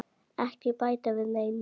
Ekki bæta við neinu.